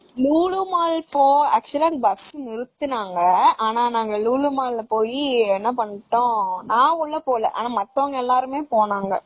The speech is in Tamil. லூலூ மால் actual ஆ பஸ் நிருத்துனாங்க ஆனா நாங்க லூலூ மால்ல போய் என்ன பண்ணிட்டோம் நான் உள்ள போகல ஆனா மத்தவங்க எல்லாரும் போன்னாங்க.